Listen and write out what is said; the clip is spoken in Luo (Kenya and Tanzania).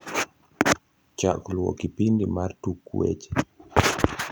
chak luo kipindi mar tuk weche